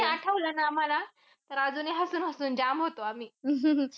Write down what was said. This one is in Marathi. ते आठवला ना आम्हाला, तर अजूनही हसून-हसून जाम होतो आम्ही.